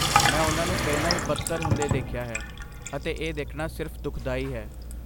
ਮੈਂ ਉਨ੍ਹਾਂ ਨੂੰ ਪਹਿਲਾਂ ਹੀ ਬਦਤਰ ਹੁੰਦੇ ਦੇਖਿਆ ਹੈ, ਅਤੇ ਇਹ ਦੇਖਣਾ ਸਿਰਫ਼ ਦੁਖਦਾਈ ਹੈ।